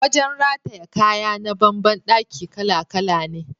Wajen rataye kaya na ban ban daki kala-kala ne.